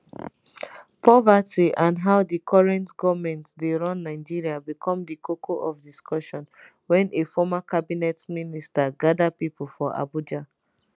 poverty and how di current goment dey run nigeria become di koko of discussion wen a former cabinet minister gather pipo for abuja